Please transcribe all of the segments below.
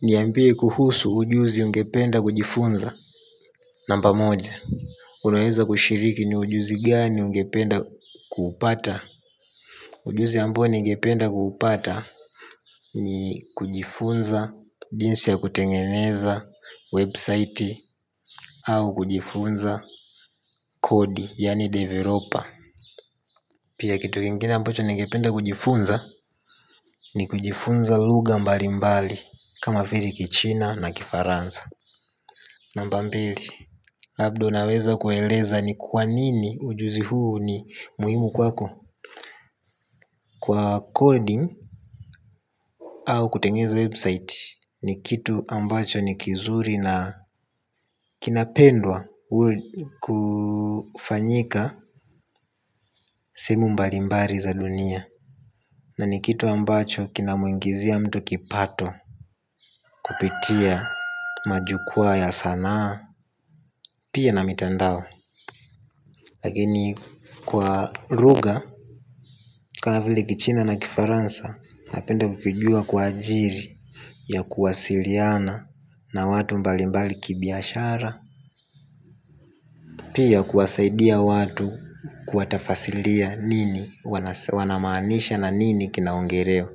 Niambie kuhusu ujuzi ungependa kujifunza. Namba moja. Unaeza kushiriki ni ujuzi gani ungependa kuupata ujuzi ambao ningependa kuupata. Ni kujifunza jinsi ya kutengeneza website au kujifunza kodi yaani developer. Pia kitu kingine ambacho ningependa kujifunza. Ni kujifunza lugha mbali mbali kama vile kichina na kifaransa. Namba mbili. Labda unaweza kueleza ni kwa nini ujuzi huu ni muhimu kwako. Kwa coding au kutengeneza website ni kitu ambacho ni kizuri na kinapendwa kufanyika sehemu mbali mbali za dunia. Na ni kitu ambacho kinamuingizia mtu kipato kupitia majukwaa ya sanaa pia na mitandao. Lakini kwa lugha kama vile kichina na kifaransa napenda kukijua kwa ajili ya kuwasiliana na watu mbali mbali kibiashara. Pia kuwasaidia watu kuwatafsiria nini, wana maanisha na nini kinaongelewa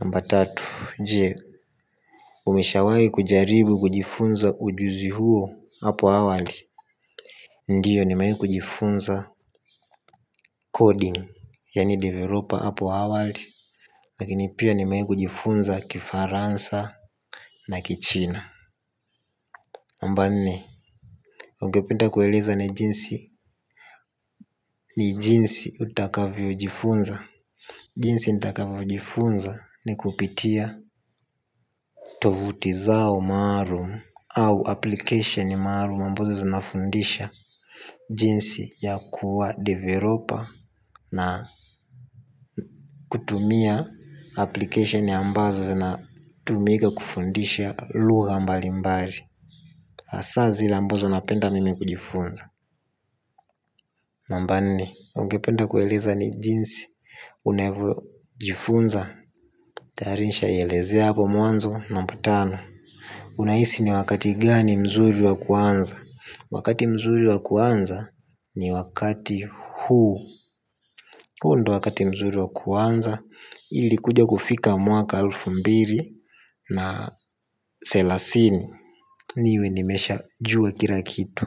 namba tatu, je, umeshawahi kujaribu kujifunza ujuzi huo hapo awali. Ndiyo nimewahi kujifunza coding, yaani developer hapo awali. Lakini pia nimewahi kujifunza kifaransa na kichina. Namba nne, ungependa kueleza ni jinsi ni jinsi utakavyo jifunza jinsi nitakavyo jifunza ni kupitia tovuti zao maalum au application maalum ambazo zinafundisha jinsi ya kuwa developer. Na kutumia application ambazo zina tumika kufundisha lugha mbalimbali. Hasa zile ambazo napenda mimi kujifunza. Namba nne, ungependa kueleza ni jinsi Unevyojiifunza. Tayari nishaa elezea hapo mwanzo, namba tano, unahisi niwakati gani mzuri wa kuanza, wakati mzuri wa kuanza. Ni wakati huu, huu ndio wakati mzuri wa kuanza ili kuja kufika mwaka elfu na mbili na thelathini niwe nimesha jua kila kitu.